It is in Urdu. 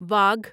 واگھ